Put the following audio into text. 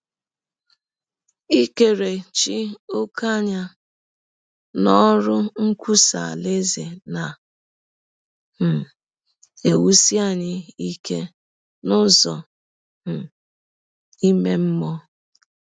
Ikerechi ọ̀kè anya n’ọrụ nkwụsa Alaeze na - um ewụsi anyị ike n’ụzọ um ime mmụọ.